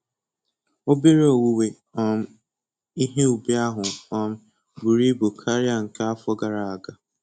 Obere owuwe um ihe ubi ahụ um buru ibu karịa nke afọ gara aga